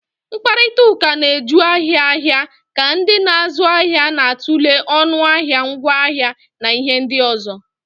Mkparịta ụka na-eju ahịa ahịa ka ndị na-azụ ahịa na-atụle ọnụ ahịa, ngwaahịa na ihe ndị ọzọ.